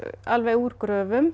úr gröfum